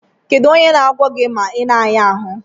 Kedụ onye na agwọ gi ma ina aya arụ?